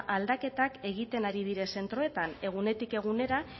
aldaketak egiten ari dire zentroetan egunetik egunera